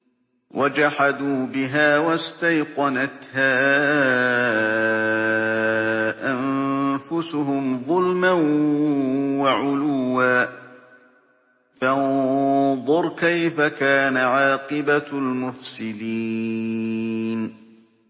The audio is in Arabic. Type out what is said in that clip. وَجَحَدُوا بِهَا وَاسْتَيْقَنَتْهَا أَنفُسُهُمْ ظُلْمًا وَعُلُوًّا ۚ فَانظُرْ كَيْفَ كَانَ عَاقِبَةُ الْمُفْسِدِينَ